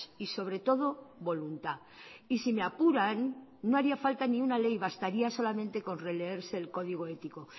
y sobre todo voluntad y si me apuran no haría falta ni una ley bastaría solamente con releerse el código ético